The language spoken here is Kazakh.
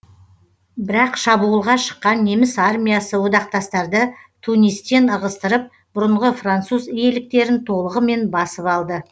бірақ шабуылға шыққан неміс армиясы одақтастарды тунистен ығыстырып бұрынғы француз иеліктерін толығымен басып алды